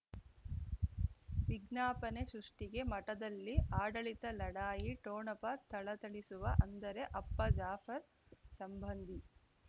ವಿಜ್ಞಾಪನೆ ಸೃಷ್ಟಿಗೆ ಮಠದಲ್ಲಿ ಆಡಳಿತ ಲಢಾಯಿ ಠೋಣಪ ಥಳಥಳಿಸುವ ಅಂದರೆ ಅಪ್ಪ ಜಾಫರ್ ಸಂಬಂಧಿ